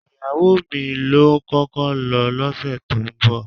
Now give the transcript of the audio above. Ìyàwó mi ló ń kọ́kọ́ lọ lọ́sẹ̀ tó ń bọ̀